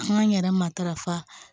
Kuma in yɛrɛ matarafa